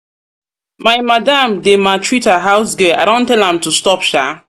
my madam dey maltreat her house girl i don tell am to stop shaa.